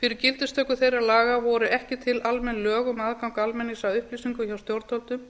fyrir gildistöku þeirra laga voru ekki til almenn lög um aðgang almennings að upplýsingum hjá stjórnvöldum